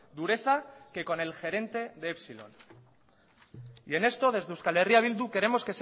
dureza que con el gerente de epsilon y en esto desde euskal herria bildu queremos